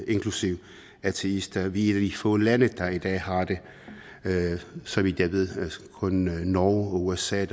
inklusive ateister vi af de få lande der i dag har det så vidt jeg ved kun norge og usa